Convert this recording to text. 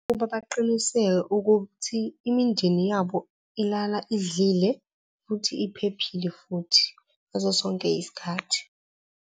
Ukuba baqiniseke ukuthi imindeni yabo ilala idlile futhi iphephile futhi ngaso sonke isikhathi.